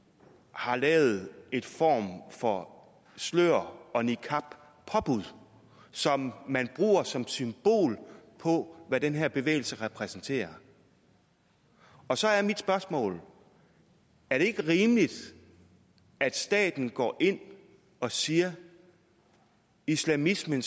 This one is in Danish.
har lavet en form for slør og niqab påbud som man bruger som symbol på hvad den her bevægelse repræsenterer og så er mit spørgsmål er det ikke rimeligt at staten går ind og siger at islamismen